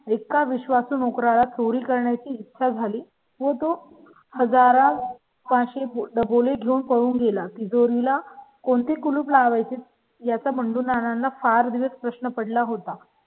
एका विश्वासू नोकरा ला चोरी करण्याची इच्छा झाली व तो हजार शे डबल घेऊन पडून गेला. तिजोरी ला कोणते कुलूप लावायचे याचा बंडू नाना फार दिवस प्रश्न पडला होता.